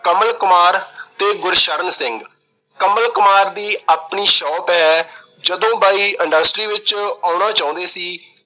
ਕਮਲ ਕੁਮਾਰ ਤੇ ਗੁਰਸ਼ਰਨ ਸਿੰਘ। ਕਮਲ ਕੁਮਾਰ ਦੀ ਆਪਣੀ shop ਏ, ਜਦੋਂ ਬਾਈ industry ਵਿੱਚ ਆਉਣਾ ਚਾਹੁੰਦੇ ਸੀ